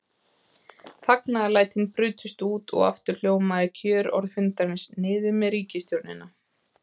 Fagnaðarlætin brutust út og aftur hljómaði kjörorð fundarins: Niður með ríkisstjórnina!